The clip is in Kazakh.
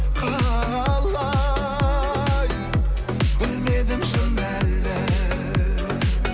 қалай білмедім шын әлі